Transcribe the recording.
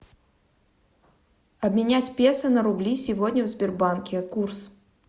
обменять песо на рубли сегодня в сбербанке курс